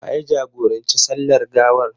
Wa ya jagoranci sallar gawar?